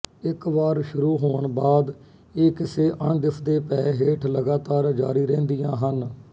ਇੱਕ ਵਾਰ ਸ਼ੁਰੂ ਹੋਣ ਬਾਦ ਇਹ ਕਿਸੇ ਅਣਦਿਸਦੇ ਭੈਅ ਹੇਠ ਲਗਾਤਾਰ ਜਾਰੀ ਰਹਿੰਦੀਆਂ ਹਨ